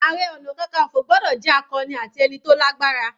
Ààrẹ ọna kankanfo gbọ́dọ̀ jẹ́ akọni ati ẹni tó lágbára.